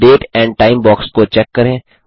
date and time box को check करें